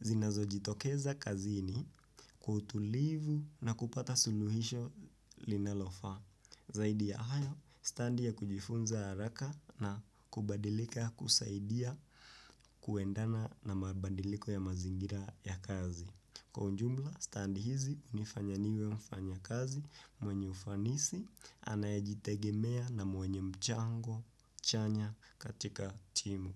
zinazo jitokeza kazini kwa utulivu na kupata suluhisho linalofaa. Zaidi ya hayo, stadi ya kujifunza haraka na kubadilika kusaidia kuendana na mabadiliko ya mazingira ya kazi. Kwa ujumla standi hizi hunifanya niwe mfanyakazi mwenye ufanisi anayajitegemea na mwenye mchango chanya katika timu.